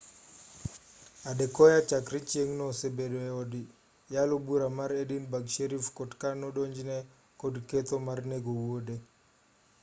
adekoya chakre chieng'no osebedo e od yalo bura mar edinburgh sheriff court ka nodonjne kod ketho mar nego wuode